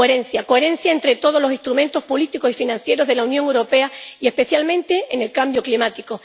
Coherencia coherencia entre todos los instrumentos políticos y financieros de la Unión Europea y especialmente en el cambio climático.